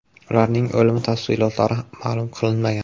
Ularning o‘limi tafsilotlari ma’lum qilinmagan.